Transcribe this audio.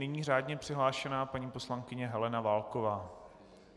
Nyní řádně přihlášená paní poslankyně Helena Válková.